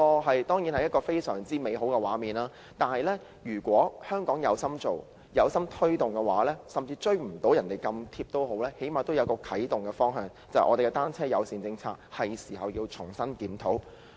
這當然是一個非常美好的畫面，如果香港是有心推動的話，即使未能追上他們，但最少可以訂下一個啟動方向，因此，這是重新檢討單車友善政策的時候。